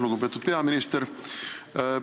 Lugupeetud peaminister!